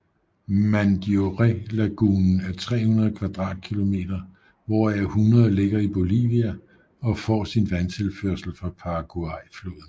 Mandiorélagunen er 300 kvadratkilometer hvoraf 100 ligger i Bolivia og får sin vandtilførsel fra Paraguayfloden